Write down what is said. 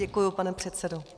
Děkuji, pane předsedo.